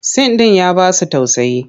Sin ɗin ya ba su tausayi.